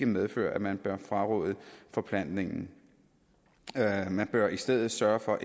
medfører at man bør fraråde forplantningen man bør i stedet sørge for